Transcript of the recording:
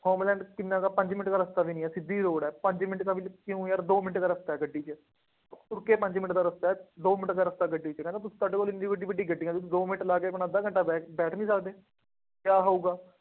Homeland ਕਿੰਨਾ ਕੁ ਹੈ, ਪੰਜ ਮਿੰਟ ਦਾ ਰਸਤਾ ਵੀ ਨਹੀਂ ਹੈ, ਸਿੱਧੀ ਰੋਡ ਹੈ, ਪੰਜ ਮਿੰਟ ਦਾ ਵੀ ਨਹੀਂ, ਕਿਉਂ ਯਾਰ ਦੋ ਮਿੰਟ ਦਾ ਰਸਤਾ ਹੈ, ਗੱਡੀ ਚ, ਤੁਰ ਕੇ ਪੰਜ ਮਿੰਟ ਦਾ ਰਸਤਾ ਹੈ, ਦੋ ਮਿੰਟ ਦਾ ਰਸਤਾ ਹੈ, ਗੱਡੀ ਚ, ਕਹਿੰਦਾ ਤੁਸੀਂ ਤੁਹਾਡੇ ਕੋਲ ਐਨੀ ਵੱਡੀ ਗੱਡੀ ਹੈ, ਬਈ ਦੋ ਮਿੰਟ ਲਾ ਕੇ ਆਪਣਾ ਅੱਧਾ ਘੰਟਾ ਬੈਠ ਬੈਠ ਨਹੀਂ ਸਕਦੇ। ਕਿਆਂ ਹੋਊਗਾ।